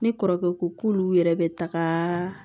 Ne kɔrɔkɛ ko k'olu yɛrɛ bɛ taga